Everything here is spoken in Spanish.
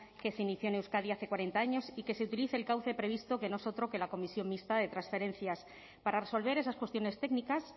que se inició en euskadi hace cuarenta años y que se utilice el cauce previsto que no es otro que la comisión mixta de transferencias para resolver esas cuestiones técnicas